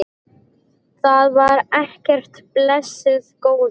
Það var ekkert, blessuð góða.